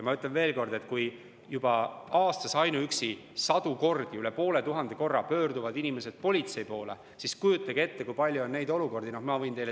Ma ütlen veel kord, et kui inimesed pöörduvad aastas sadu kordi, üle poole tuhande korra politsei poole, siis kujutage ette, kui palju neid olukordi tegelikult on.